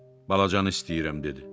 Balacanı istəyirəm, dedi.